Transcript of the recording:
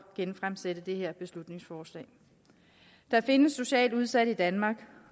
genfremsætte dette beslutningsforslag der findes socialt udsatte i danmark